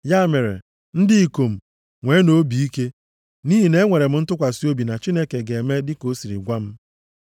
Ya mere, ndị ikom nweenụ obi ike! Nʼihi na enwere m ntụkwasị obi na Chineke ga-eme dị ka o siri gwa m.